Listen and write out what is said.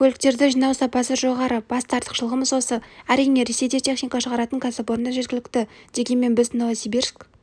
көліктерді жинау сапасы жоғары басты артықшылығымыз осы әрине ресейде техника шығаратын кәсіпорындар жеткілікті дегенмен біз новосибирск